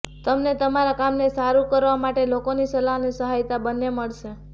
તમને તમારા કામને સારું કરવા માટે લોકોની સલાહ અને સહાયતા બંને મળશે